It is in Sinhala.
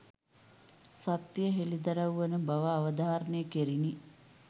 සත්‍යය හෙළිදරව් වන බව අවධාරණය කැරිණි.